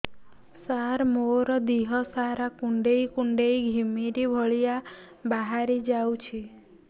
ସାର ମୋର ଦିହ ସାରା କୁଣ୍ଡେଇ କୁଣ୍ଡେଇ ଘିମିରି ଭଳିଆ ବାହାରି ଯାଉଛି